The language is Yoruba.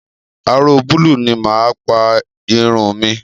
Aró búúlù ni mà á pa irun mi.